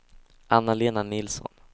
Anna-Lena Nilsson